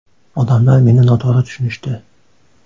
Odamlar meni noto‘g‘ri tushunishdi.